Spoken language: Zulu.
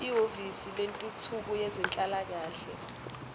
ehhovisi lentuthuko yezenhlalakahle